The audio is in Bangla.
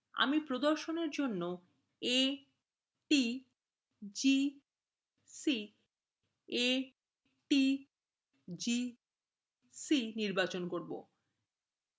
আমি প্রদর্শনfor জন্য a t g c a t g c নির্বাচন করবো